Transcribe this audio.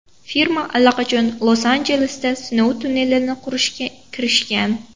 Firma allaqachon Los-Anjelesda sinov tunnelini qurishga kirishgan.